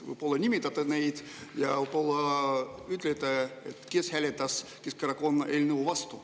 Võib-olla nimetate nad ja ütlete, kes hääletas Keskerakonna eelnõu vastu.